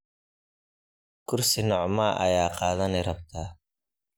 Kursi nocmaa aya kadhani rabtaa.